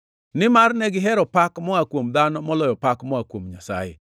Nimar ne gihero pak moa kuom dhano moloyo pak moa kuom Nyasaye.